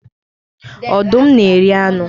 Ọdụm na-eri anụ